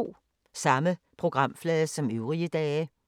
Samme programflade som øvrige dage